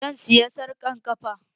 Zan saya sarƙar ƙafa